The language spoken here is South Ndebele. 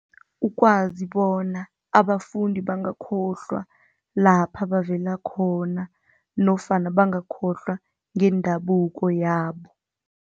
Ukwazi bona abafundi bangakhohlwa lapha bavela khona nofana bangakhohlwa ngendabuko yabo.